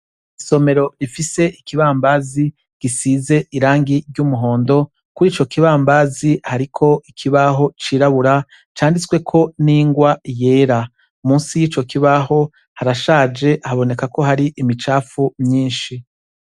Isomero rifise ikibambazi gifise irangi risa numuhondo kuri ico kibambazi hariko ikibaho cirabura canditsweko ningwa yera musi yico kibaho harashaje haboneka ko hari imicafu nyinshi